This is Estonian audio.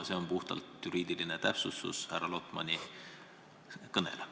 See on puhtalt juriidiline täpsustus härra Lotmani kõnele.